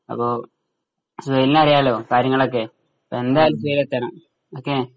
അപ്പൊ സുഹൈലിന് അറിയാലോ കാര്യങ്ങളൊക്കെ എന്തായാലും നീ എത്തണം ഓക്കേ